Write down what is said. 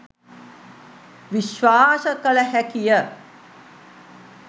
විශ්වාස කළ හැකි ය.